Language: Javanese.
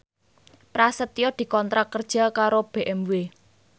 Prasetyo dikontrak kerja karo BMW